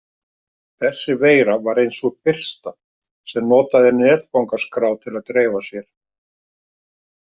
Þessi veira var ein sú fyrsta sem notaði netfangaskrá til að dreifa sér.